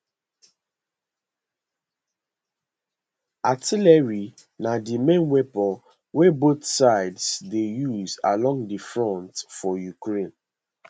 artillery na di main weapon wey both sides dey use along di front for ukraine